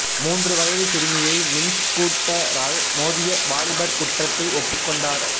மூன்று வயது சிறுமியை மின்ஸ்கூட்டரால் மோதிய வாலிபர் குற்றத்தை ஒப்புக்கொண்டார்